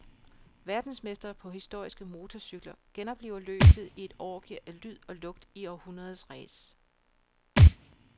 Verdensmestre på historiske motorcykler genopliver løbet i et orgie af lyd og lugt i århundredets race.